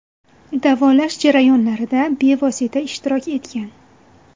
Davolash jarayonlarida bevosita ishtirok etgan.